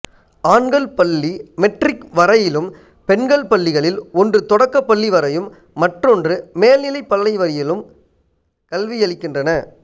ஆண்கள் பள்ளி மெட்ரிக் வரையிலும் பெண்கள் பள்ளிகளில் ஒன்று தொடக்கப் பள்ளி வரையும் மற்றொன்று மேல்நிலைப்பள்ளி வரையிலும் கல்வியளிக்கின்றன